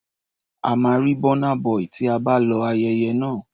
A máa rí Burna Boy tí a bá lọ ayẹyẹ náà.